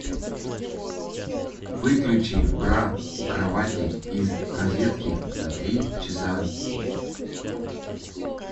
выключи бра у кровати из розетки на три часа